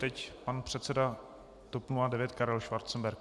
Teď pan předseda TOP 09 Karel Schwarzenberg.